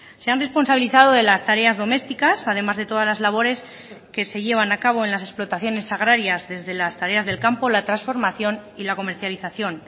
se han responsabilizado de las tareas domésticas además de todas las labores que se llevan a cabo en las explotaciones agrarias desde las tareas del campo la transformación y la comercialización